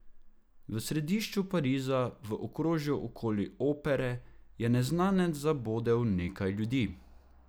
V središču Pariza, v okrožju okoli opere, je neznanec zabodel nekaj ljudi.